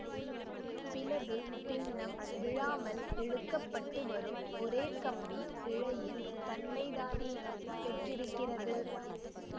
பிளவுபின்னம் விழாமல் இழுக்க பட்டு வரும் ஒரே கம்பி இழையின் தன்மைதானே பெற்றிருக்கிறது